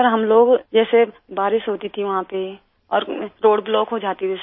सिर हम लोग जैसे बारिश होती थी वहां पे और रोड ब्लॉक हो जाती थी